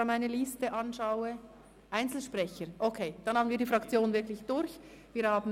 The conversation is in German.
Jakob Etter möchte aber als Einzelsprecher reden.